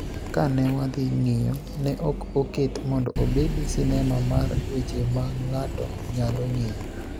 Ka ne wadhi ng�iyo, ne ok oket mondo obed sinema mar weche ma ng�ato nyalo ng�eyo.